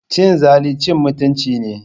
Cin zali cin mutunci ne.